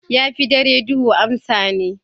Ya fi dare duhu amsan ne.